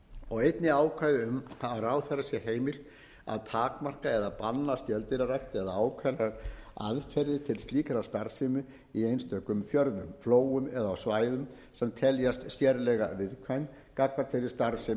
og einnig ákvæði um að ráðherra sé heimilt að takmarka eða banna skeldýrarækt eða ákveðnar aðferðir til slíkrar starfsemi í einstökum fjörðum flóum eða á svæðum sem teljast sérlega viðkvæm gagnvart þeirri starfsemi